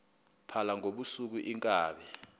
phala ngobusuku iinkabi